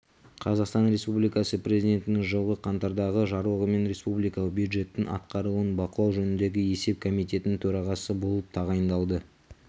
қазақстан республикасы президентінің жылғы қаңтардағы жарлығымен республикалық бюджеттің атқарылуын бақылау жөніндегі есеп комитетінің төрағасы болып тағайындалды